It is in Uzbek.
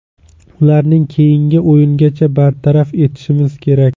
Ularni keyingi o‘yingacha bartaraf etishimiz kerak.